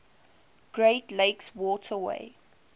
great lakes waterway